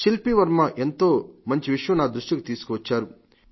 శిల్పీవర్మ ఎంతో మంచి విషయం నా దృష్టికి తీసుకువచ్చారు